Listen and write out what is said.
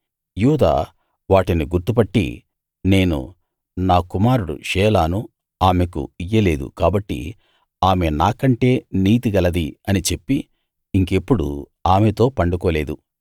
యూదా వాటిని గుర్తు పట్టి నేను నా కుమారుడు షేలాను ఆమెకు ఇయ్యలేదు కాబట్టి ఆమె నాకంటే నీతి గలది అని చెప్పి ఇంకెప్పుడూ ఆమెతో పండుకోలేదు